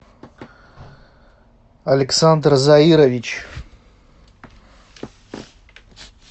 александр заирович